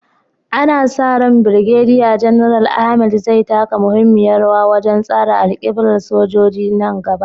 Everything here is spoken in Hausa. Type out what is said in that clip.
Ana sa ran Birgediya Janar Ahmed zai taka muhimmiyar rawa wajen tsara alƙiblar sojoji a nan gaba.